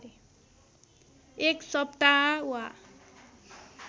एक सप्ताह वा